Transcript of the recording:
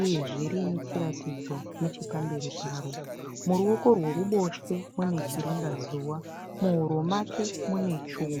uyezve rinechiratidzo nechepamberi paro. Muruoko rweruboshwe munechiringa zuva. Muhuro make munechuma.